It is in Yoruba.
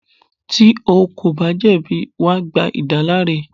Tí o kò bá jẹ̀bi, wà gba ìdáláre.